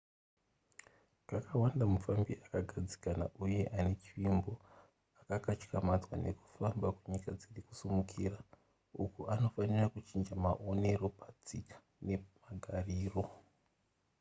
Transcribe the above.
kakawanda mufambi akagadzikana uye ane chivimbo akakatyamadzwa nekufamba kunyika dziri kusimukira uko anofanira kuchinja maonero patsika nemagariro